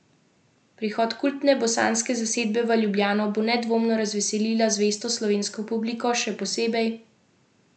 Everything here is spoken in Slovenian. Prihod kultne bosanske zasedbe v Ljubljano bo nedvomno razveselila zvesto slovensko publiko, še posebej zato, ker kritiki turneji namenjajo precej spodbudnih besed.